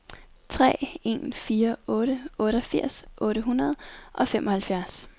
tre en fire otte otteogfirs otte hundrede og femoghalvfjerds